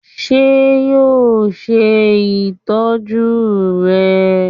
ṣe yoo ṣe itọju rẹ?